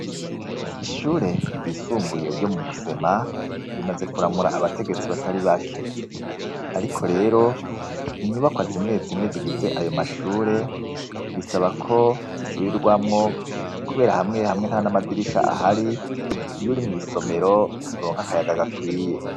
Ishure ryisumbuye ryo mu Musema rimaze kuramura abategetsi batari bake, ariko rero inyubakwa zimwe zimwe zigize ayo mashure bisaba ko zisubirwamwo kubera hamwe hamwe nta n'amadirisha ahari iyo uri mw'isomero nturonka akayaga gakwiye.